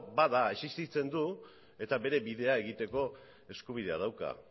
bada existitzen du eta bere bidea egiteko eskubidea dauka